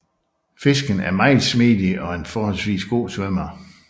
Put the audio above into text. Fisken er meget smidig og en forholdsvis god svømmer